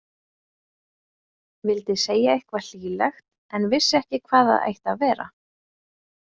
Vildi segja eitthvað hlýlegt en vissi ekki hvað það ætti að vera.